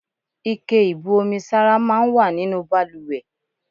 Ike ìbu omi sára máa ń wà nínú bàlùwẹ̀.